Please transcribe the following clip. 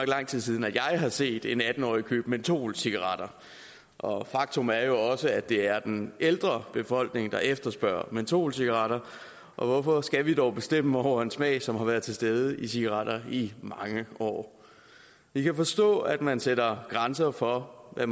lang tid siden at jeg har set en atten årig købe mentolcigaretter og faktum er jo også at det er den ældre af befolkningen der efterspørger mentolcigaretter og hvorfor skal vi dog bestemme over en smag som har været til stede i cigaretter i mange år vi kan forstå at man sætter grænser for hvad